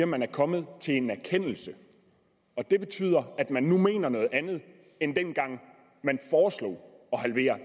man er kommet til en erkendelse og det betyder at man nu mener noget andet end dengang man foreslog at halvere